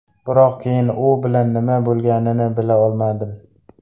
Biroq keyin u bilan nima bo‘lganini bila olmadim.